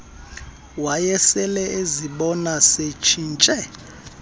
wayesele ezibona setshintshe